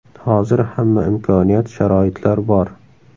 Hozir hamma imkoniyat, sharoitlar bor.